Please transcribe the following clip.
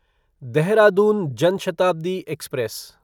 Dehradun Jan Shatabdi express